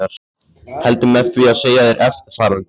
Heldur með því að segja þér eftirfarandi